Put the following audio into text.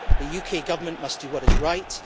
The UK Government must do what is right.